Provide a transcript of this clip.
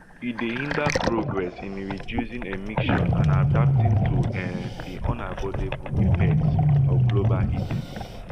e dey hinder progress in reducing emissions and adapting to um di unavoidable effects of global heating